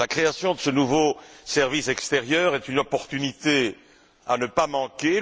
La création de ce nouveau service extérieur est une opportunité à ne pas manquer.